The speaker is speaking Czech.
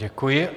Děkuji.